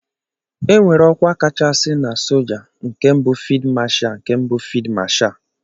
Enwere ọkwa kachasị na soja nke bu Fid Masha nke bụ fid Masha.